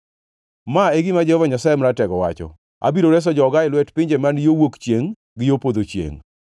Ma e gima Jehova Nyasaye Maratego wacho: “Abiro reso joga e lwet pinje man yo wuok chiengʼ gi yo podho chiengʼ.